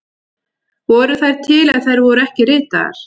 Voru þær til ef þær voru ekki ritaðar?